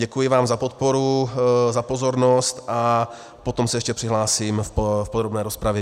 Děkuji vám za podporu, za pozornost, a potom se ještě přihlásím do podrobné rozpravy.